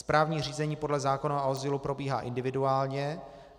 Správní řízení podle zákona o azylu probíhá individuálně.